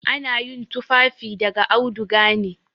Ana yin tufafi daga auduga ne.